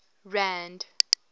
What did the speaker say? rand